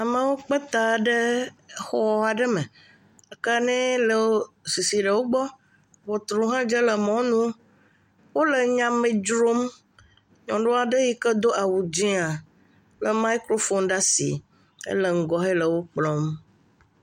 Amewo kpeta ɖe xɔɖe me, akanɛ le sisi ɖewo gbɔ, ʋɔtru hã dze le mɔnu wole nyame dzrom nyɔnuaɖe yike do awu dzẽa, le maikrofon ɖe asi edzeŋgɔ hele wo kplɔm.